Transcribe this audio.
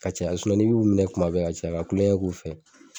Ka caya n'i b'u minɛ kuma bɛ ka caya ka kulonkɛ k'u fɛ